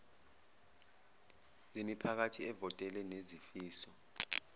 zemiphakathi ewavotele nezifiso